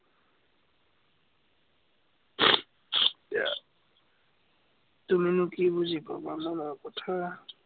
আহ তুমিনো কি বুজিবা, মোৰ মনৰ কথা।